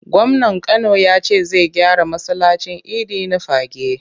Gwamnan Kano ya ce zai gyara masallacin idi na Fagge.